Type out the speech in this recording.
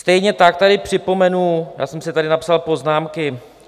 Stejně tak tady připomenu, já jsem si tady napsal poznámky.